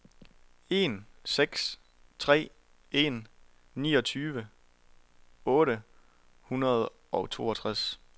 en seks tre en niogtyve otte hundrede og toogtres